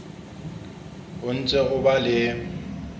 o ntse o ba le